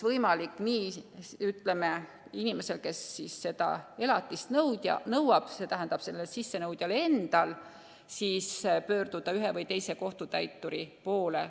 Inimesel, kes elatist nõuab, st sissenõudjal endal, on võmalik pöörduda ühe või teise kohtutäituri poole.